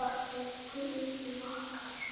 Elsku Iðunn okkar.